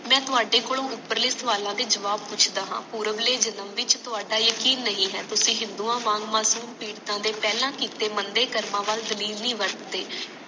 ਮੈਂ ਤੁਹਾਡੇ ਕੋਲੋਂ ਉਪਰਲੇ ਸਵਾਲਾਂ ਦੇ ਜਵਾਬ ਪੁੱਛਦਾ ਹਾਂ ਪੁਰਵਲੇ ਜਨਮ ਵਿੱਚ ਥੋੜਾ ਯਕੀਨ ਨਹੀਂ ਹੈ ਤੁਸੀ ਹਿੰਦੂਆਂ ਵਾਂਗ ਦੇ ਪਹਿਲਾਂ ਕੀਤੇ ਮੰਦੇ ਕਰਮਾਂ ਵਲ ਨਹੀਂ ਵਰਤਦੇ